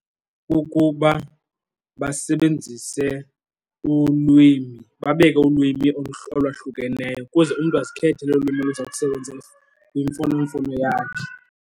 Kukuba basebenzise ulwimi, babeke ulwimi olwahlukeneyo ukuze umntu azikhethele ulwimi oluza kusebenzisa kwimfunomfono yakhe.